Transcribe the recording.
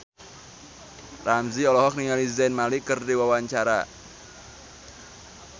Ramzy olohok ningali Zayn Malik keur diwawancara